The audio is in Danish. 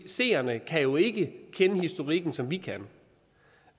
seerne kan jo ikke kende historikken som vi kan